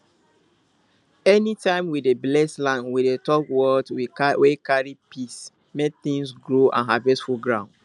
anytime we dey bless land we dey talk words wey carry peace make things grow and harvest full ground